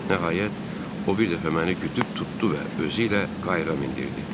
Nəhayət, o bir dəfə məni güdüb tutdu və özü ilə qayığa mindirdi.